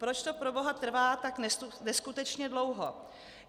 Proč to, proboha, trvá tak neskutečně dlouho?